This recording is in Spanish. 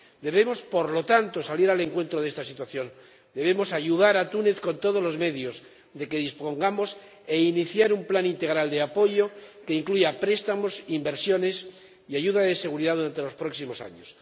Debemos, por lo tanto, salir al encuentro de esta situación, debemos ayudar a Túnez con todos los medios de que dispongamos e iniciar un plan integral de apoyo, que incluya préstamos, inversiones y ayuda de seguridad durante los próximos años.